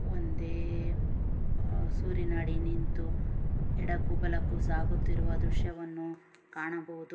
ಒಂದೇ ಆ ಸೂರಿನಡಿ ನಿಂತು ಎಡಕ್ಕೂ ಬಲಕ್ಕೂ ಸಾಗುತಿರುವ ದೃಶ್ಯವನ್ನು ಕಾಣಬಹುದು.